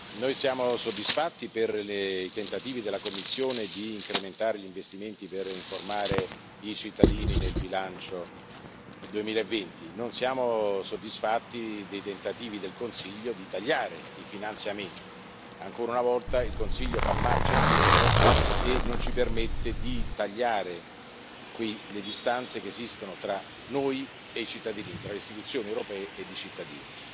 Noi siamo soddisfatti per i tentativi della Commissione di incrementare gli investimenti per informare i cittadini nel bilancio 2020, non siamo soddisfatti dei tentativi del Consiglio di tagliare i finanziamenti. Ancora una volta, il Consiglio fa marcia indietro e non ci permette di tagliare qui le distanze che esistono tra noi e i cittadini, tra le istituzioni europee ed i cittadini.